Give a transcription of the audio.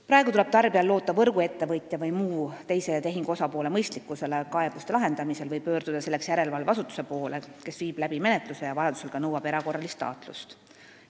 Praegu tuleb tarbijal loota võrguettevõtja või mõne muu teise tehingupoole mõistlikkusele kaebuste lahendamisel või pöörduda järelevalveasutuse poole, kes viib läbi menetluse ja vajadusel ka nõuab erakorralist taatlust.